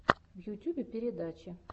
в ютьюбе передачи